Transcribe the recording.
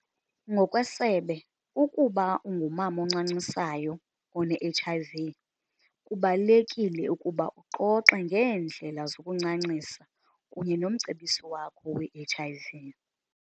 Ngokwesebe, ukuba ungumama oncancisayo one-HIV, kubalulekile ukuba uxoxe ngeendlela zokuncancisa kunye nomcebisi wakho we-HIV.